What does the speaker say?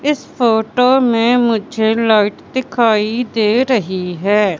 इस फोटो मे मुझे लाइट दिखाई दे रही है।